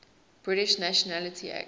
british nationality act